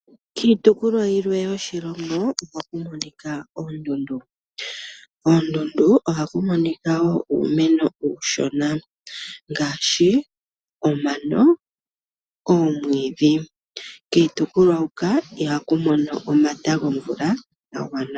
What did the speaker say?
Kiitopolwa yilwe yoshilongo ohaku monika oondundu. Koondundu ohaku monika wo uumeno uushona ngaashi omano, oomwiidhi. Kiitopolwa huka ihaku mono omata gomvula ga gwana.